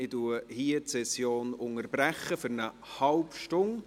Ich unterbreche an dieser Stelle.